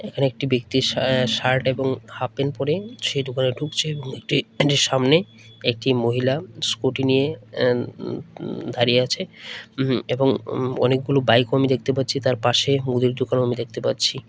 এখানে একটি ব্যক্তি সা আ শার্ট এবং হাফপ্যান্ট পড়ে সে দোকানে ঢুকছে একটি সামনে একটি মহিলা স্কুটি নিয়ে আ উন উন দাঁড়িয়ে আছে উম এবং উম অনেকগুলো বাইকও আমি দেখতে পাচ্ছি তার পাশে মুদির দোকানও আমি দেখতে পাচ্ছি।